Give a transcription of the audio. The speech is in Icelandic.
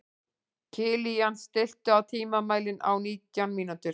Kilían, stilltu tímamælinn á nítján mínútur.